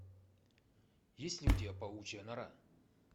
есть ли у тебя паучья нора